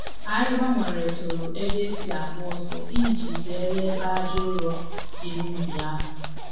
Anyị gbanweretụrụ ebe e si agba ọsọ iji zere ebe aja ụrọ dị n’ubi ahụ.